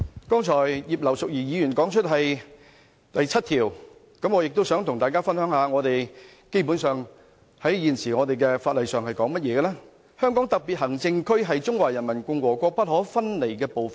剛才葉劉淑儀議員提到《基本法》第七條，我也想跟大家分享現時在法例上，基本上是怎樣說：香港特別行政區是中華人民共和國不可分離的部分。